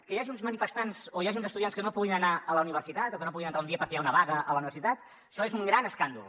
que hi hagi uns manifestants o hi hagi uns estudiants que no puguin anar a la universitat o que no hi puguin entrar un dia perquè hi ha una vaga a la universitat això és un gran escàndol